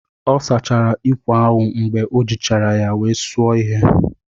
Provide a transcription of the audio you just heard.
Ọ sachara ikwè ahụ mgbe o jichara ya wee suo ihe.